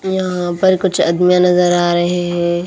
यहाँ पर कुछ अदमियाँ नजर आ रहे हैं।